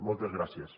moltes gràcies